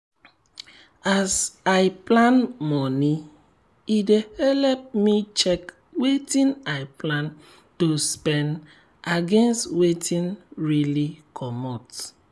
as i plan moni e dey help me check wetin i plan to spend against wetin really comot.